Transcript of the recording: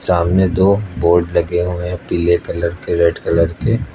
सामने दो बोर्ड लगे हुए हैं पीले कलर और रेड कलर के।